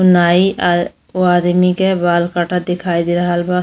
नाई आ ओ आदमी के बाल काटत दिखाई दे रहल बा।